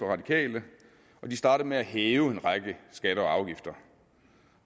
radikale og de startede med at hæve en række skatter og afgifter